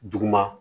Duguma